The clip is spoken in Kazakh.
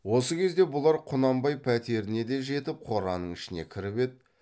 осы кезде бұлар құнанбай пәтеріне де жетіп қораның ішіне кіріп еді